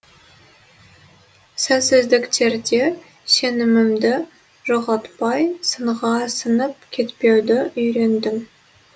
сәтсіздіктерде сенімімді жоғалтпай сынға сынып кетпеуді үйрендім